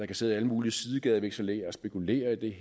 kan sidde alle mulige sidegadevekselerer og spekulere i